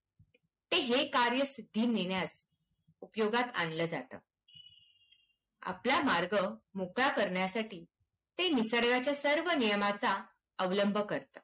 ते कार्यसिद्धी नेण्यास उपयोगात आणलं जातं. आपला मार्ग मोकळा करण्यासाठी ते निसर्गाच्या सर्व नियमांचा अवलंब करतं.